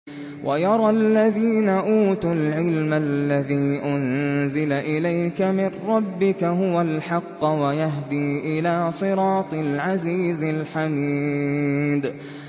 وَيَرَى الَّذِينَ أُوتُوا الْعِلْمَ الَّذِي أُنزِلَ إِلَيْكَ مِن رَّبِّكَ هُوَ الْحَقَّ وَيَهْدِي إِلَىٰ صِرَاطِ الْعَزِيزِ الْحَمِيدِ